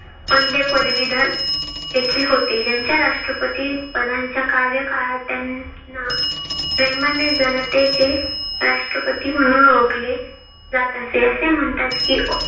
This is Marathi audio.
पहिले पदवीधर देखील होते. ज्यांच्या राष्ट्रपती पदांच्या कार्यकाळात त्यांना प्रेमाने जनतेचे राष्ट्रपती म्हणून ओळखले जात असे. असे म्हणतात कि